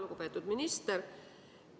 Lugupeetud minister!